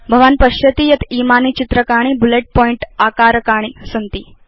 भवान् पश्यति यत् इमानि चित्रकाणि बुलेट पॉइंट आकारकाणि सन्ति